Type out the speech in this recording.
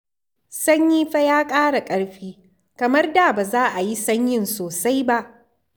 Sanyi fa ya ƙara ƙarfi, kamar da ba za a yi sanyin sosai ba.